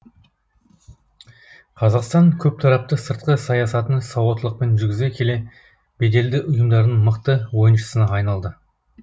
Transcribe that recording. қазақстан көптарапты сыртқы саясатын сауаттылықпен жүргізе келе беделді ұйымдардың мықты ойыншысына айналды